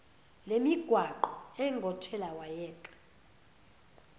lemigwaqo engothela wayeka